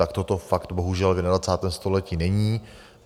Tak toto fakt bohužel v 21. století není.